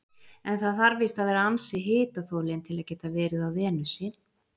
En það þarf víst að vera ansi hitaþolinn til að geta verið á Venusi.